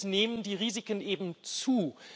Durch EDIS nehmen die Risiken eben zu.